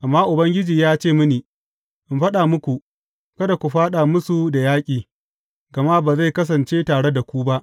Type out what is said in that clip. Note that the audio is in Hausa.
Amma Ubangiji ya ce mini, In faɗa muku, Kada ku fāɗa musu da yaƙi, gama ba zai kasance tare da ku ba.